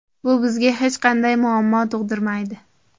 Bu bizga hech qanday muammo tug‘dirmaydi.